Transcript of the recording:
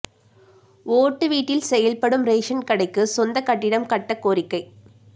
ஓட்டு வீட்டில் செயல்படும் ரேஷன் கடைக்கு சொந்த கட்டிடம் கட்ட கோரிக்கை